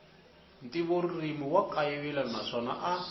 ntivoririmi wa kayivela naswona a